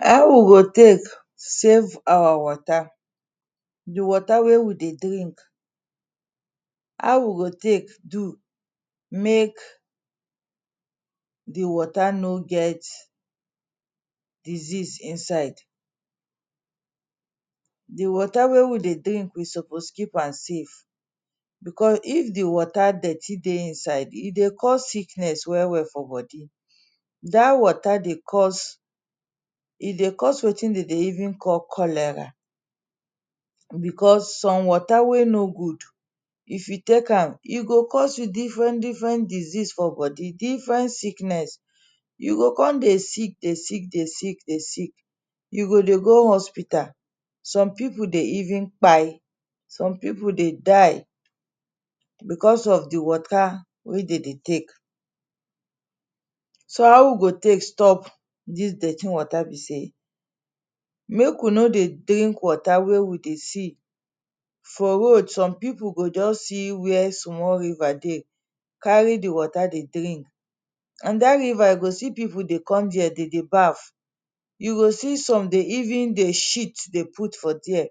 How we go take save our water The water wey we dey drink. How we go take do make the water no get diseases inside. The water wey we dey drink we suppose keep am safe,. because if the water dirty dey inside e dey cause sickness well well for body. Dat water dey cause e dey cause wetin dem dey even call cholera, because some water wey no good if you take am, e go cause you different different disease for body, different sickness. You go come dey sick dey sick dey sick dey sick. You go dey go hospital. Some people dey even kpai. Some people dey die because of the water wey dem dey take. So how we go take stop dis dirty water be sey, make we no dey drink water wey we dey see for road. Some people go just see where small river dey, carry the water dey drink. And dat river you go see people dey come dere dem dey bath. You go see some dey even dey shit dey put for dere.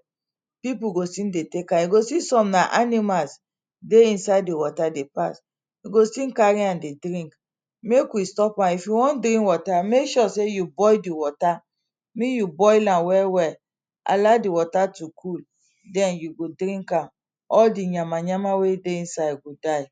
People go still dey take am, you see some na animals ey inside the water dey pass. They go still carry am dey drink. Make we stop am. If we wan drink water, make sure sey you boil the water. Make you boil am well well. Allow the water to cool. Den you go drink am. All the yama yama wey dey inside go die.